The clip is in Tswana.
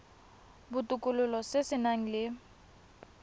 botokololo se se nang le